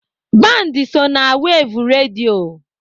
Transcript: Band so na wev redio.